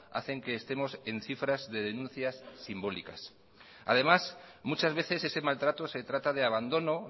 hacen que estemos en cifras de denuncias simbólicas además muchas veces ese maltrato se trata de abandono